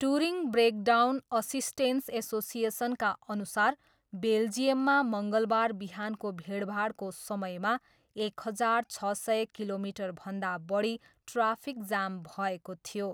Touring breakdown assistance एसोसिएसनका अनुसार बेल्जियममा मङ्गलबार बिहानको भिडभाडको समयमा एक हजार छ सय किलोमिटरभन्दा बढी ट्राफिक जाम भएको थियो।